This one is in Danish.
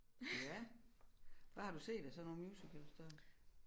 Ja hvad har du set af sådan nogle musicals før